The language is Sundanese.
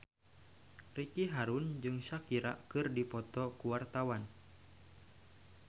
Ricky Harun jeung Shakira keur dipoto ku wartawan